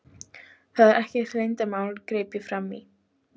Það er ekkert leyndarmál, greip ég fram í.